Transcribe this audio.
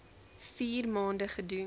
vier maande gedoen